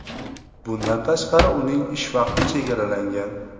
Bundan tashqari, uning ish vaqti chegaralangan.